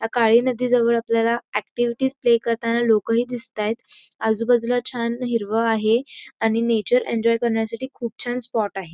या काळी नदीच्या शेजारी ऍक्टिव्हिटीस प्ले करताना लोक हि दिसतायत आजूबाजूला छान हिरवं आहे आणि नेचर एन्जॉय करण्यासाठी खूप छान स्पॉट आहे.